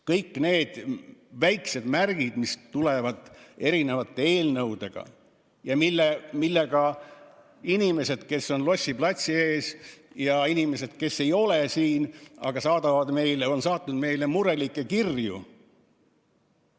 Kõik need on väiksed märgid, mis tulevad eri eelnõudes ja millega inimesed, kes on Lossi platsil, ja inimesed, kes ei ole siin, aga on saatnud meile murelikke kirju, pole nõus.